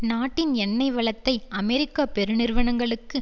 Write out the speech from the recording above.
நாட்டின் எண்ணெய் வளத்தை அமெரிக்க பெருநிறுவனங்களுக்கு